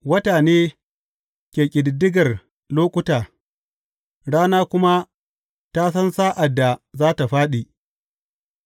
Wata ne ke ƙididdigar lokuta, rana kuma ta san sa’ad da za tă fāɗi.